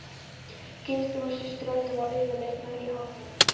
Geirþrúður systir Öldu var yfirleitt með í hópnum.